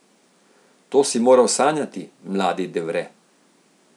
To si moral sanjati, mladi De Vere.